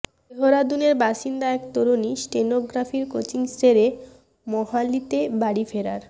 দেহরাদূনের বাসিন্দা এক তরুণী স্টেনোগ্রাফির কোচিং সেরে মোহালিতে বাড়ি ফেরার